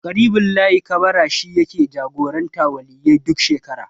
Ƙaribullahi Kabara shi yake jagorantar Waliyyai duk shekara.